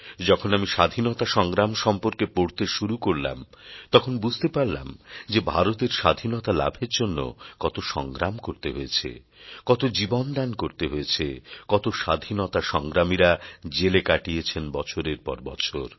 যখন আমি স্বাধীনতা সংগ্রাম সম্পর্কে পড়তে শুরু করলাম তখন বুঝতে পারলাম যে ভারতের স্বাধীনতা লাভের জন্য কত সংগ্রাম করতে হয়েছে কত জীবনদান করতে হয়েছে কত স্বাধীনতা সংগ্রামীরা জেলে কাটিয়েছেন বছরের পর বছর